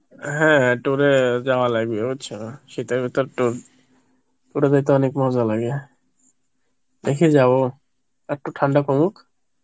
হ্যাঁ tour এ যাওয়া লাগবে বুজছো শীতের ভিতর tour, tour এ তে তো অনেক মজা লাগে, দেখি যাবো, একটু ঠান্ডা কমুক